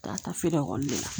Ka taa feere ekɔli de la